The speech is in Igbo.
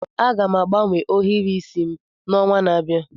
Aga m agbanwe ohiri isi m n'ọnwa na-abịa.